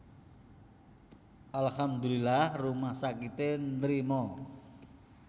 Alhamdulilah rumah sakite nrima